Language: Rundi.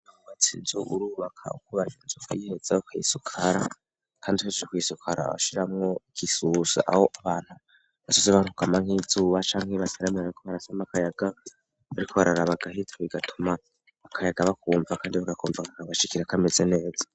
Batsi inzu urubaka ukobaja ncoka yiheza ho akayisukara, kandi hejejekwisukara awashiramwo igisusha aho abantu basoze bantukama nk'izuba canke ibibaserameraneko barasoma akayaga bariko bararaba agahita bigatuma akayaga bakumva, kandi bagakumvakakagashikira kameze neza.